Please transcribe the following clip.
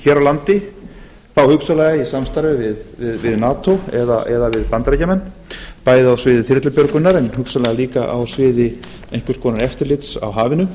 hér á landi þá hugsanlega í samstarfi við nato eða við bandaríkjamenn bæði á sviði þyrlubjörgunar en hugsanlega líka á sviði einhvers konar eftirlits á hafinu